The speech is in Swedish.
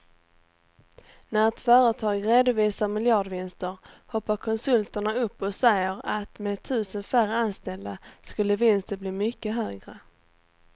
När ett företag redovisar miljardvinster hoppar konsulterna upp och säger att med tusen färre anställda skulle vinsten bli mycket högre.